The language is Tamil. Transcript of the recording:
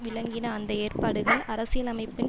விளங்கின அந்த ஏற்பாடுகள் அரசியலமைப்பின்